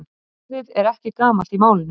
Apríl, hvernig verður veðrið á morgun?